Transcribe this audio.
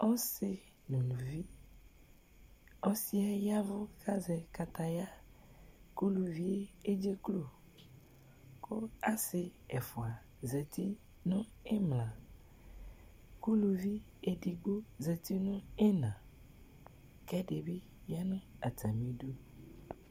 Ɔsɩ nʋ uluvi Ɔsɩ yɛ ya ɛvʋ kʋ azɛ kataya kʋ ulivi yɛ edzeklo kʋ asɩ ɛfʋa zati nʋ ɩmla kʋ uluvi edigbo zati nʋ ɩɣɩna kʋ ɛdɩ bɩ ya nʋ atamɩdu